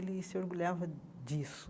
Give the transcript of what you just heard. Ele se orgulhava disso.